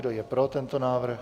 Kdo je pro tento návrh?